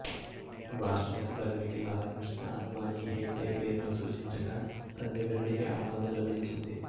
రాష్ట్రపతి పదవికి లాల్ కృష్ణ అద్వానీ హెగ్డే పేరును సూచించగా సంజీవ రెడ్డికి ఆమోదం లభించింది